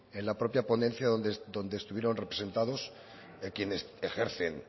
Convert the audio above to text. en la propia ponencia en donde estuvieron representados quienes ejercen